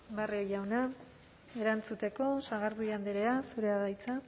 barrio jauna erantzuteko sagardui andrea zurea da hitza